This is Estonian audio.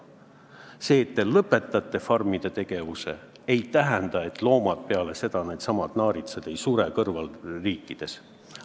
See, et te lõpetate farmide tegevuse, ei tähenda, et loomad, needsamad naaritsad, peale seda ei sure meie naaberriikides.